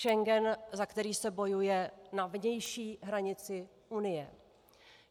Schengen, za který se bojuje na vnější hranici Unie.